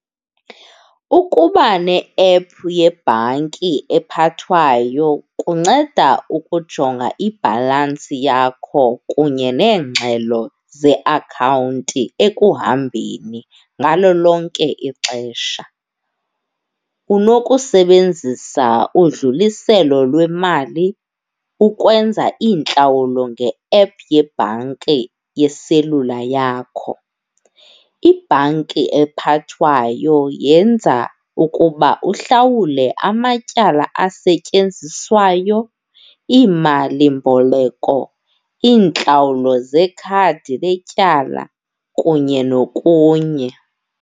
Ukuba ne-ephu yebhanki ephathwayo kunceda ukujonga ibhalansi yakho kunye neengxelo zeakhawunti ekuhambeni ngalo lonke ixesha. Unokusebenzisa udluliselo lwemali ukwenza iintlawulo nge-ephu yebhanki yeselula yakho. Ibhanki ephathwayo yenza ukuba uhlawule amatyala asetyenzisiwayo, iimalimboleko, iintlawulo zekhadi letyala kunye nokunye.